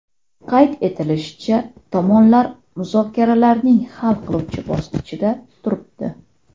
Qayd etilishicha, tomonlar muzokaralarning hal qiluvchi bosqichida turibdi.